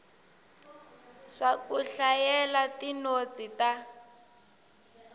swa ku hlayela tinotsi ta